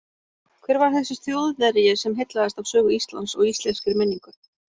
Hver var þessi Þjóðverji sem heillaðist af sögu Íslands og íslenskri menningu?